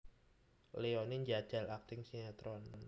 Leoni njajal akting sinetron